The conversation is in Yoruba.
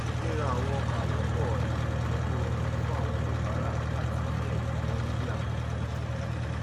ríra àwọn ọkà lọpọ yóò jé kó rọrùn fún àwọn oníbàárà láti ní ẹdinwo lórí àwọn jíjẹ